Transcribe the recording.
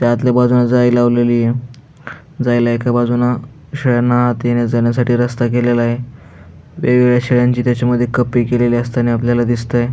त्या आतल्या बाजून जाळी लवलेलीय जायला एका बाजून शाळेने येण्या जाण्यासाठी रस्ता केलेलाय वेगवेगळ्या शेळयांची त्याच्यामध्ये कप्पे केलेले असतानी आपल्याला दिसतोय.